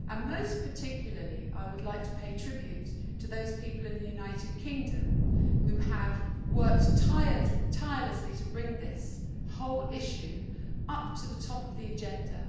Most particularly, I would like to pay tribute to those people in the United Kingdom who have worked tirelessly to bring this whole issue up to the top of the agenda.